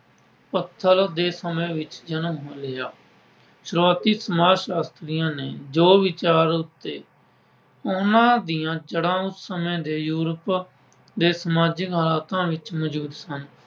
ਪੱਥਰ ਦੇ ਸਮੇਂ ਵਿੱਚ ਜਨਮ ਹੋਇਆ। ਸ਼ੁਰੂਆਤੀ ਸਮਾਜਸ਼ਾਸਤਰੀਆਂ ਨੇ ਜੋ ਵਿਚਾਰ ਦਿੱਤੇ, ਉਨ੍ਹਾਂ ਦੀਆਂ ਜੜ੍ਹਾਂ ਉਸ ਸਮੇਂ ਦੇ Europe ਦੇ ਸਮਾਜਿਕ ਸ਼ਾਸਤਰਾਂ ਵਿੱਚ ਮੌਜੂਦ ਸਨ।